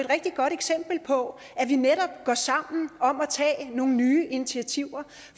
rigtig godt eksempel på at vi netop går sammen om at tage nogle nye initiativer